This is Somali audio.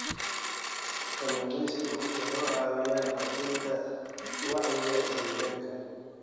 Kalluumeysigu wuxuu caawiyaa kordhinta wacyiga deegaanka.